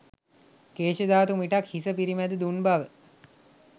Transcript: කේශධාතු මිටක් හිස පිරිමැද දුන් බව